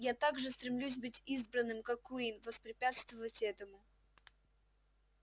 я так же стремлюсь быть избранным как куинн воспрепятствовать этому